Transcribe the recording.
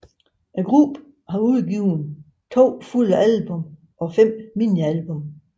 Gruppen har udgivet to fulde album og 5 minialbum